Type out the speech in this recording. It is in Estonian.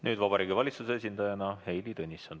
Nüüd Vabariigi Valitsuse esindaja Heili Tõnisson.